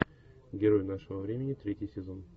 герой нашего времени третий сезон